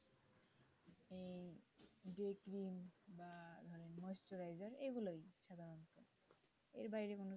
এগুলা সাধারণত এর বাইরে কোনো না,